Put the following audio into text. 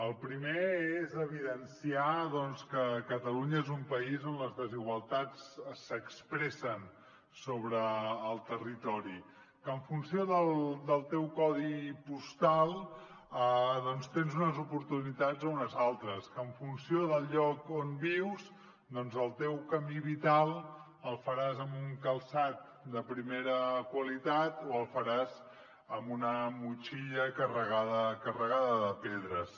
el primer és evidenciar que catalunya és un país on les desigualtats s’expressen sobre el territori que en funció del teu codi postal tens unes oportunitats o unes altres que en funció del lloc on vius doncs el teu camí vital el faràs amb un calçat de primera qualitat o el faràs amb una motxilla carregada de pedres